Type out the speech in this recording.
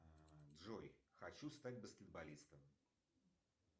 джой хочу стать баскетболистом